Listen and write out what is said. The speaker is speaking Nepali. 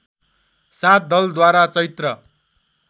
सात दलद्वारा चैत्र